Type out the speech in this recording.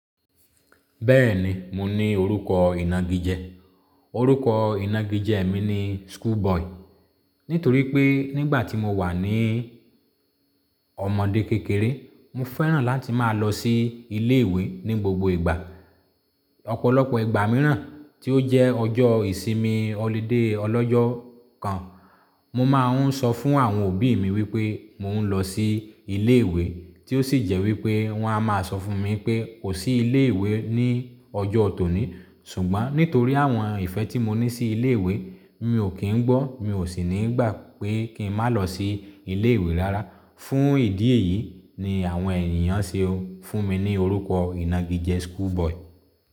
Bẹ́ẹ̀ni, mo ní orúkọ ìnagijẹ. Orúkọ ìnagijẹ mi ni School Boy. Nítorí pé nígbà tí mo wà ní ọmọ̀dé kékeré, mo fẹ́ràn láti máa lọ sí ilé ìwé ní gbogbo ìgbà. Ọ̀pọ̀lọpọ̀ ìgbà mìíràn tí ó jẹ́ ọjọ́ ìsinmi holiday ọlọ́jọ́ kan, mo máa ń sọ fún àwọn òbí mi wípé mo ń lọ sí ilé ìwé tí ó sì jẹ́ wípé wọ́n á máa sọ fún mi pé kò sí ilé ìwé ní ọjọ́ ọ tòní. Ṣùgbọ́n nítorí àwọn ìfẹ́ tí mo ní sí ilé ìwé, mi ò kín ń gbọ́, mi ò sì ní ìgbà pé kí n má lọ sí ilé ìwé rárá. Fún ìdí èyí ni àwọn ènìyàn ṣe fún mi ní orúkọ ìnagijẹ School Boy.